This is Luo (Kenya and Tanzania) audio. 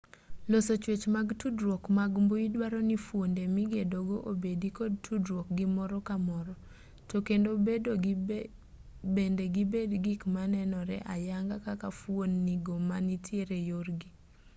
loso chwech mag tudruok mag mbui duaro ni fuonde migedogo obedi kod tudruok gi moro ka moro to kendo bende gibed gik manenore ayanga kaka fuon-ni go ma nitiere yorgi